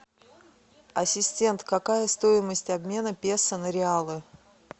ассистент какая стоимость обмена песо на реалы